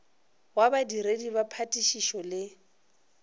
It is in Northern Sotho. wa badiredi ba phatišišo le